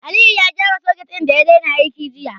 Aliyu ya gyara soket ɗin da ya daina aiki jiya.